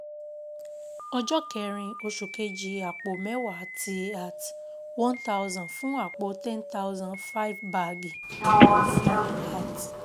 Ọjọ́ kerin, oṣù kejì àpò mẹ́wàá Tíí at one thousand fún àpò 10,000 5 báàgì Koofí @